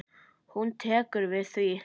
Hún tekur við því.